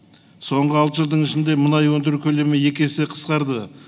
соңғы алты жылдың ішінде мұнай өндіру көлемі екі есе қысқарды